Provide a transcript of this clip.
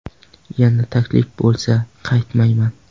Yana taklif bo‘lsa qaytmayman.